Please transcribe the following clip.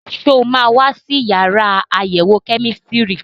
Ṣé o máa wá sí yàrá àyẹ̀wò kẹ́mísítírì?